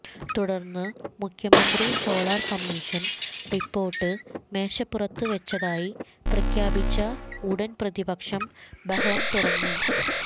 തുടർന്ന് മുഖ്യമന്ത്രി solar commission report മേശപ്പുറത്ത് വെച്ചതായി പ്രഖ്യാപിച്ച ഉടൻ പ്രതിപക്ഷം ബഹളം തുടങ്ങി